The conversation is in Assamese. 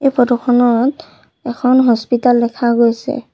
এই ফটো খন--ত এখন হস্পিটেল দেখা গৈছে।